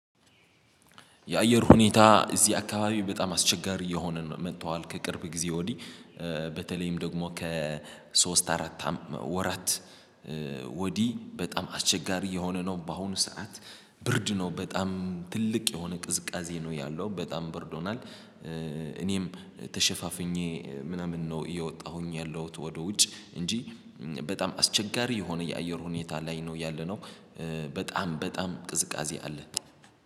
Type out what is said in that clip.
የአየር ሁኔታ እዚህ አካባቢ በጣም አስቸጋሪ እየሆነ መጥቷዋል ከቅርብ ጊዜ ወዲህ በተለይም ደግሞ ከሶስት አራት ወራት ወዲህ በጣም አስቸጋሪ እየሆነ ነው። በአሁኑ ሰዓት ብርድ ነው በጣም ትልቅ የሆነ ቅዝቃዜ ነው ያለው በጣም ብርድ ሆኗል። እኔም ተሸፋፍኜ ምናምን ነው እየወጣሁኝ ያለሁት ወደ ውጭ እንጂ በጣም አስቸጋሪ የሆነ የአየር ሁኔታ ላይ ነው ያለነው። በጣም በጣም ቅዝቃዜ አለ።